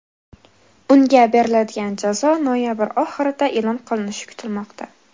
Unga beriladigan jazo noyabr oyi oxirida e’lon qilinishi kutilmoqda.